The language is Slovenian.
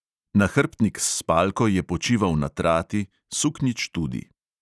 Nahrbtnik s spalko je počival na trati, suknjič tudi.